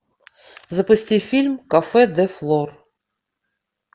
запусти фильм кафе де флор